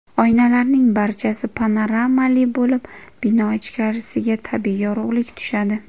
Oynalarning barchasi panoramali bo‘lib, bino ichkarisiga tabiiy yorug‘lik tushadi.